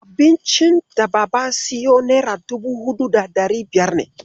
Abincin daba siyo nera dubu huɗu da ɗari biyar ne.